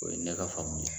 O ye ne ka faamu ye